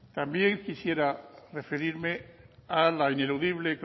también quisiera referirme al ineludible